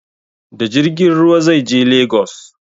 Da jirgin ruwa zai je lagos